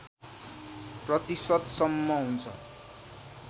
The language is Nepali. प्रतिशतसम्म हुन्छ